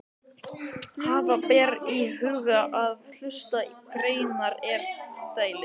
Hafa ber í huga að hlutleysi greinarinnar er umdeilt.